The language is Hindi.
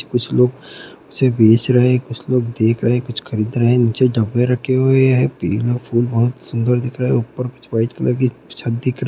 कुछ लोग उसे बेच रहे है कुछ लोग देख रहे है कुछ लोग खरीद रहे है नीचे कुछ डब्बे रखे हुए है तीनो फुल बहुत सुंदर दिख रहे है ऊपर कुछ व्हाइट कलर की छत दिख --